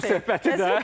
Bitirək bu söhbəti.